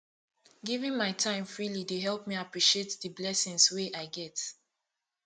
giving my time freely dey help me appreciate the blessings wey i get